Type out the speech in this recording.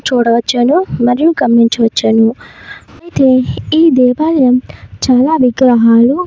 చూడవచ్చును. మరియు గమనించవచ్చును. అయితే ఈ దేవాలయం చాలా విగ్రహాలు --